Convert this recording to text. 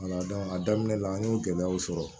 a daminɛ la an y'o gɛlɛyaw sɔrɔ